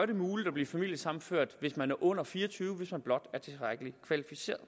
det muligt at blive familiesammenført hvis man er under fire og tyve år hvis man blot er tilstrækkelig kvalificeret